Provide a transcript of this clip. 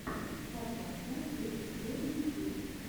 папанда зэ киллер ютюб